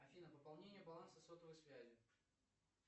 афина пополнение баланса сотовой связи